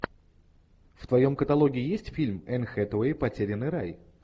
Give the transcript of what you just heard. в твоем каталоге есть фильм энн хэтэуэй потерянный рай